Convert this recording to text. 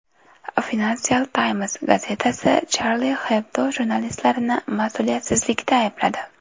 Financial Times gazetasi Charlie Hebdo jurnalistlarini mas’uliyatsizlikda aybladi.